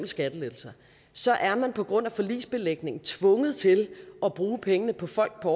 skattelettelser så er man på grund af forligsbelægningen tvunget til at bruge pengene på folk på